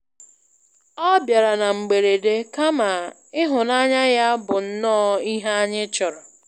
Ọ bịara na mgberede, kama ịhụnanya ya bụ nnọ ihe anyị chọrọ.